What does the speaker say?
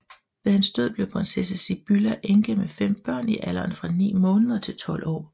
Ved hans død blev prinsesse Sibylla enke med fem børn i alderen fra ni måneder til tolv år